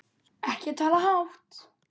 Ekki tala hátt!